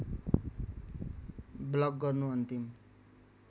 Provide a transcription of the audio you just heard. block गर्नु अन्तिम